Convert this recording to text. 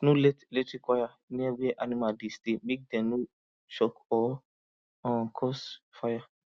no let electric wire near where animal dey stay make dem no shock or um cause fire